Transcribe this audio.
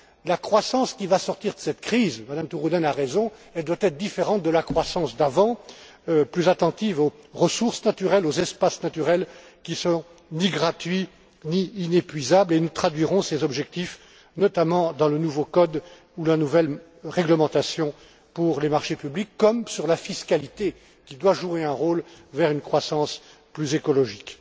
La croissance qui va sortir de cette crise, Mme Turunen a raison, doit être différente de la croissance d'avant, plus attentive aux ressources naturelles, aux espaces naturels, qui ne sont ni gratuits ni inépuisables, et nous traduirons ces objectifs notamment dans le nouveau code ou la nouvelle réglementation pour les marchés publics, comme sur la fiscalité, qui doit jouer un rôle vers une croissance plus écologique.